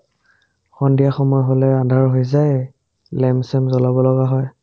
সন্ধিয়া সময় হ'লে আন্ধাৰ হৈ যায়ে লেম-চেম জ্বলাব লগা হয়